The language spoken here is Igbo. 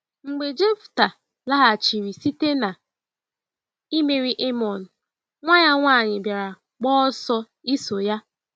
Mgbe Jefta laghachiri site na imeri Amọn, nwa ya nwanyị bịara gba ọsọ iso ya.